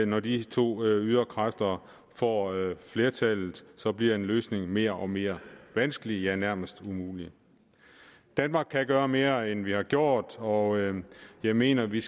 når de to yderkræfter får flertallet bliver en løsning mere og mere vanskelig ja nærmest umulig danmark kan gøre mere end vi har gjort og jeg mener vi